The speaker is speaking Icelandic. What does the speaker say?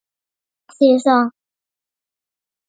Og hvað þýðir það?